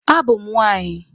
A bụ m nwaanyị.